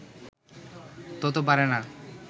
তত পারে না